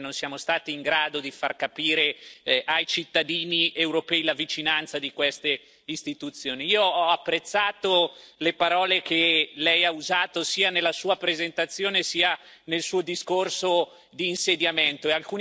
ai cittadini europei la vicinanza di queste istituzioni. Io ho apprezzato le parole che Lei ha usato sia nella sua presentazione, sia nel suo discorso di insediamento e alcuni concetti li condivido pienamente.